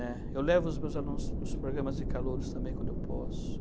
Eh, eu levo os meus alunos nos programas de calouros também, quando eu posso.